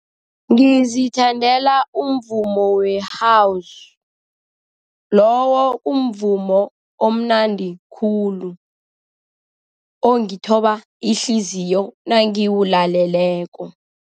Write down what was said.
Ngizithandela umvumo we-House. Lowo umvumo omnandi khulu, ongithoba ihliziyo nangiwulaleleko.